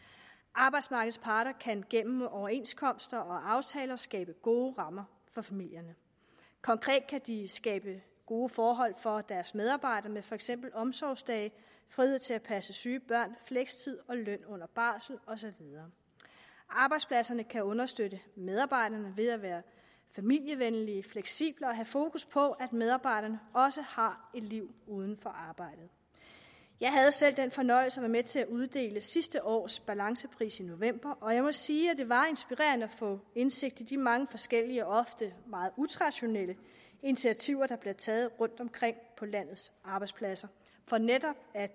arbejdsmarkedets parter kan gennem overenskomster og aftaler skabe gode rammer for familierne konkret kan de skabe gode forhold for deres medarbejdere med for eksempel omsorgsdage frihed til at passe syge børn flekstid løn under barsel og så videre arbejdspladserne kan understøtte medarbejderne ved at være familievenlige fleksible og have fokus på at medarbejderne også har et liv uden for arbejdet jeg havde selv den fornøjelse at være med til at uddele sidste års balancepris i november og jeg må sige at det var inspirerende at få indsigt i de mange forskellige og ofte meget utraditionelle initiativer der bliver taget rundtomkring på landets arbejdspladser for netop at